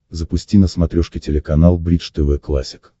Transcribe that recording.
запусти на смотрешке телеканал бридж тв классик